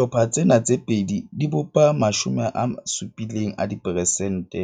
Dihlopha tsena tse pedi di bopa 70 a diperesente